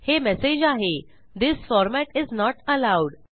हे मेसेज आहे this format is not allowed